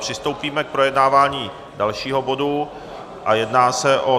Přistoupíme k projednávání dalšího bodu a jedná se o